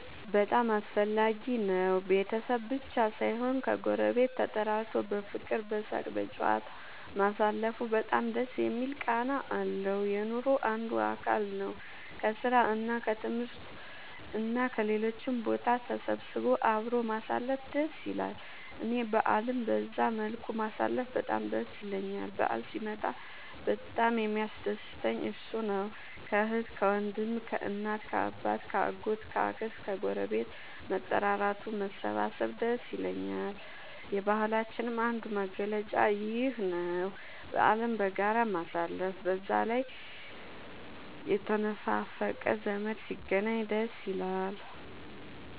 በጣም አስፈላጊ ነው ቤተሰብ ብቻ ሳይሆን ከ ጎረቤት ተጠራርቶ በፍቅር በሳቅ በጨዋታ ማሳለፉ በጣም ደስ የሚል ቃና አለው። የኑሮ አንዱ አካል ነው። ከስራ እና ከትምህርት እና ከሌሎችም ቦታ ተሰብስቦ አብሮ ማሳለፍ ደስ ይላል እኔ በአልን በዛ መልኩ ማሳለፍ በጣም ደስ ይለኛል በአል ሲመጣ በጣም የሚያስደስተኝ እሱ ነው። ከአህት ከወንድም ከእናት ከአባት ከ አጎት ከ አክስት ከግረቤት መጠራራቱ መሰባሰብ ደስ ይላል። የባህላችንም አንዱ መገለጫ ይኽ ነው በአልን በጋራ ማሳለፍ። በዛ ላይ የተነፋፈቀ ዘመድ ሲገናኝ ደስ ይላል